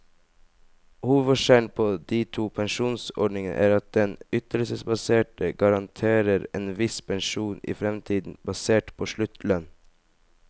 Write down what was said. Hovedforskjellen på de to pensjonsordningene er at den ytelsesbaserte garanterer en viss pensjon i fremtiden, basert på sluttlønn.